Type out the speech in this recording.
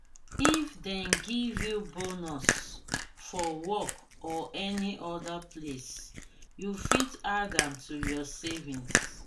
if dem give you bonus for work or any oda place you fit add am to your savings